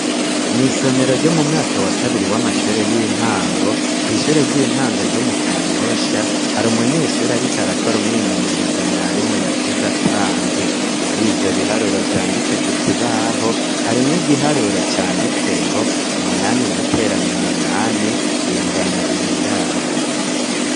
Mw' isomero ryo mu mwaka wa kabiri w'amashure y'intango kw' ishure ry'intango ryo mu Kanyosha, hari umunyeshuri ariko arakora umwimenyerezo mwarimu yasize atanze. Muri ivyo biharuro vyanditse ku kibaho, harimwo igiharuro canditse ngo "umunani guteranya umunani bingana bingahe ?"